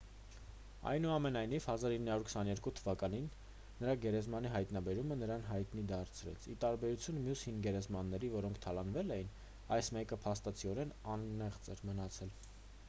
այնուամենայնիվ 1922 թ նրա գերեզմանի հայտնաբերումը նրան հայտնի դարձրեց ի տարբերություն մյուս հին գերեզմանների որոնք թալանվել էին այս մեկը փաստացիորեն անեղծ էր մնացել